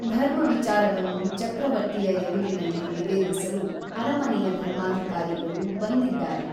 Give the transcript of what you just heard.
ಧರ್ಮ ವಿಚಾರವನ್ನು ಚಕ್ರವರ್ತಿಯ ಎದುರಿನಲ್ಲಿ ನಿವೇದಿಸಲು ಅರಮನೆಯ ಧರ್ಮಾಧಿಕಾರಿಗಳು ಬಂದಿದ್ದಾರೆ.